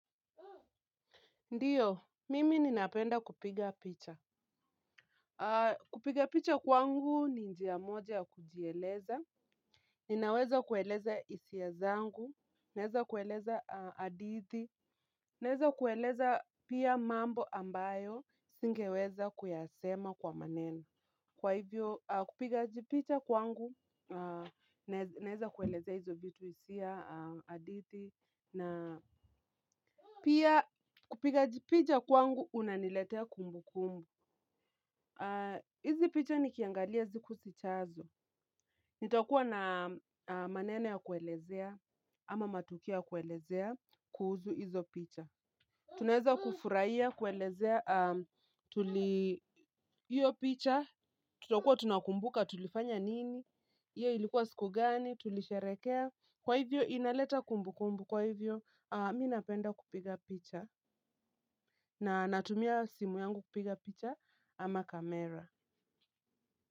Ndiyo, mimi ninapenda kupiga picha. Kupiga picha kwangu ni njia moja ya kujieleza. Ninaweza kueleza hisia zangu. Naweza kueleza hadithi. Naweza kueleza pia mambo ambayo singeweza kuyasema kwa maneno. Kwa hivyo, kupiga jipicha kwangu, naweza kueleza hizo vitu hisia hadithi. Na pia kujipiga picha kwangu kunaniletea kumbukumbu hizi picha nikiangalia siku zijazo. Nitakuwa na maneno ya kuelezea ama matukio ya kuelezea kuhusu hizo picha. Tunaweza kufurahia kuelezea tuli hiyo picha. Tutakuwa tunakumbuka tulifanya nini. Hiyo ilikuwa siku gani tulisherehekea. Kwa hivyo inaleta kumbu kumbu. Kwa hivyo mimi napenda kupiga picha. Na natumia simu yangu kupiga picha ama kamera.